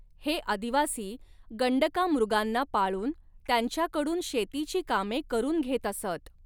हे आदिवासी गण्डकामृगांना पाळून, त्यांच्या कडून, शेतीची कामे करुन घेत असत.